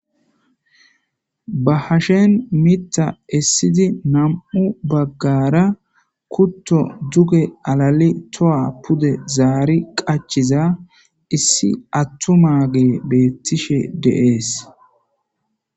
ba hashen mita essidi nam7u baggara kutto duge alali toa pude zaari qachiza issi attu maage beettishe deees